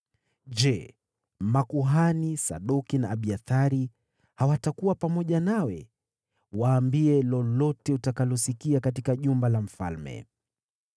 Je, makuhani Sadoki na Abiathari hawatakuwa pamoja nawe? Waambie lolote utakalosikia katika jumba la mfalme.